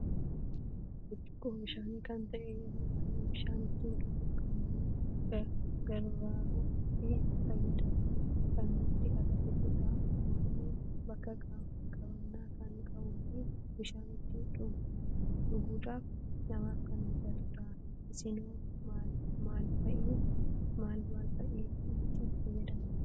Burcuqqoo bishaani kan ta'e yeroo baay'ee bishaan ittin dhuguuf kan nu garvaaruu fi itti fayyadamnu kan nutti agarsiisudha. Akkusumalle, bakka qabanna kan qabuu fi bishaan ittin dhuguudhaf namaf kan mijatudha. isinoo mal, mal fa'iif itti fayyadamtu?